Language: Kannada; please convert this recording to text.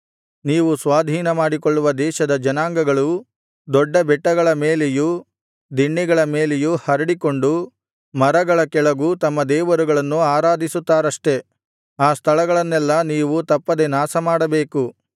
ನೀವು ಸ್ವಾಧೀನಮಾಡಿಕೊಳ್ಳುವ ದೇಶದ ಜನಾಂಗಗಳು ದೊಡ್ಡ ಬೆಟ್ಟಗಳ ಮೇಲೆಯೂ ದಿಣ್ಣೆಗಳ ಮೇಲೆಯೂ ಹರಡಿಕೊಂಡು ಮರಗಳ ಕೆಳಗೂ ತಮ್ಮ ದೇವರುಗಳನ್ನು ಆರಾಧಿಸುತ್ತಾರಷ್ಟೆ ಆ ಸ್ಥಳಗಳನ್ನೆಲ್ಲಾ ನೀವು ತಪ್ಪದೆ ನಾಶಮಾಡಬೇಕು